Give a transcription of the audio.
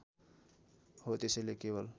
हो त्यसैले केवल